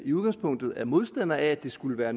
i udgangspunktet er modstandere af skulle være